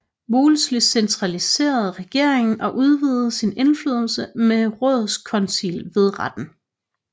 Wolsey centraliserede regeringen og udvidede sin indflydelse med rådskoncil ved retten